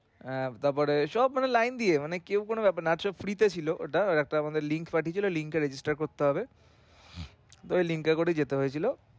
আহ তারপরে সব কটা line দিয়ে মানে কেউ কোনো ভাবে নাচ ও free তে ছিলো ওটা ওর একটা link copy ছিলো link এ register করতে হবে। ঐ link এ করে যেতে হয়েছিলো।